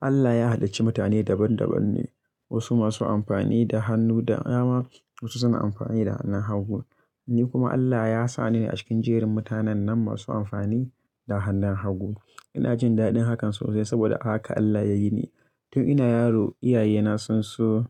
Allah ya halacci mutane daban daban ne, wasu masu amfani da hannu da dama, wasu suna amfani da hannun hagu. Ni kuma Allah ya sa ni a cikin jerin mutanen nan masu amfani da hannun hagu. Ina jin daɗin hakan sosai saboda haka Allah ya yi ni. Tun ina yaro, iyayena sun so,